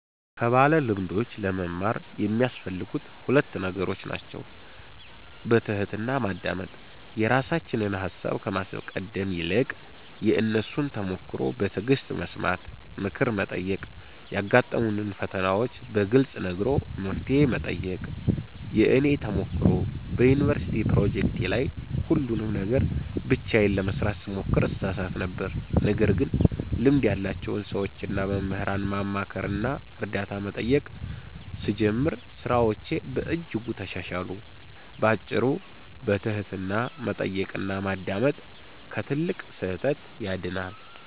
ከባለልምዶች ለመማር የሚያስፈልጉት ሁለት ነገሮች ናቸው፦ በትሕትና ማዳመጥ፦ የራሳችንን ሃሳብ ከማስቀደም ይልቅ የእነሱን ተሞክሮ በትዕግሥት መስማት። ምክር መጠየቅ፦ ያጋጠሙንን ፈተናዎች በግልጽ ነግሮ መፍትሄ መጠየቅ። የእኔ ተሞክሮ፦ በዩኒቨርሲቲ ፕሮጀክቶቼ ላይ ሁሉንም ነገር ብቻዬን ለመሥራት ስሞክር እሳሳት ነበር። ነገር ግን ልምድ ያላቸውን ሰዎችና መምህራንን ማማከርና እርዳታ መጠየቅ ስጀምር ሥራዎቼ በእጅጉ ተሻሻሉ። ባጭሩ፤ በትሕትና መጠየቅና ማዳመጥ ከትልቅ ስህተት ያድናል።